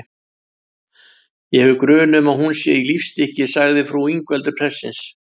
Ég hef grun um að hún sé í lífstykki, sagði frú Ingveldur prestsins.